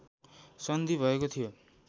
सन्धि भएको थियो